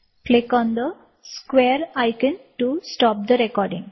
பதிவை நிறுத்த சதுர இக்கான் ஐ சொடுக்குக